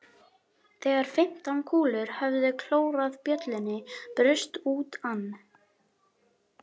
Þegar fimmtán kúlur höfðu klórað bjöllunni braust út ann